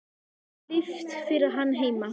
Það er ekki líft fyrir hann heima.